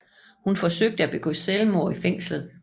Hun forsøgte at begå selvmord i fængslet